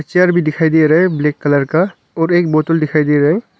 Chair भी दिखाई दे रहा हैं। ब्लैक कलर का और एक बोटल दिखाई दे रहा है।